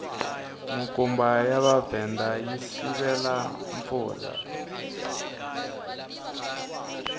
minkumba ya mavhenda yi sivela mpfula